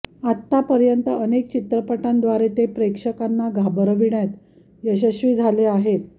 आतापर्यंत अनेक चित्रपटांद्वारे ते प्रेक्षकांना घाबरविण्यात यशस्वी झाले आहेत